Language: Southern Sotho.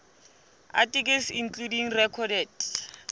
articles including recorded